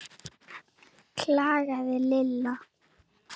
klagaði Lilla.